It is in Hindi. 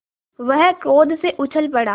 वह क्रोध से उछल पड़ा